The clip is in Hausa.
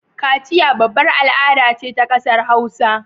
Kaciya babbar al ada ce ta ƙasar hausa